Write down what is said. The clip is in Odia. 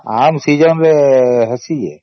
ଆମ season ରେ ହେଇସି ଯେ